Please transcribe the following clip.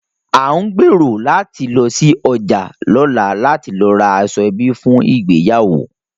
À ń gbèrò láti lọ sí ọjà lọ́la láti lọ ra aṣọ ẹbí fún ìgbéyàwó